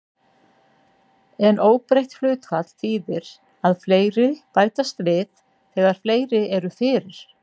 En óbreytt hlutfall þýðir að fleiri bætast við þegar fleiri eru fyrir.